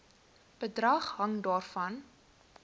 bedrag hang daarvan